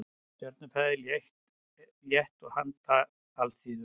Stjörnufræði, létt og handa alþýðu.